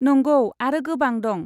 नंगौ, आरो गोबां दं।